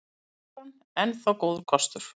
Evran enn þá góður kostur